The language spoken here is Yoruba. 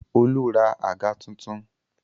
Olú ra àga tuntun.